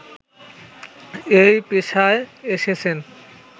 এই পেশায় এসেছেন